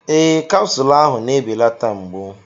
Ee, capsule ahụ na-ebelata mgbu.